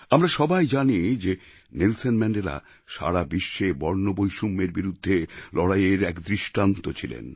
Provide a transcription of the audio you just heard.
আমরা সবাই জানি যে নেলসন ম্যাণ্ডেলা সারা বিশ্বে বর্ণবৈষম্যের বিরুদ্ধে লড়াইয়ের এক দৃষ্টান্ত ছিলেন